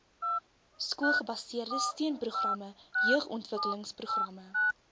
skoolgebaseerde steunprogramme jeugontwikkelingsprogramme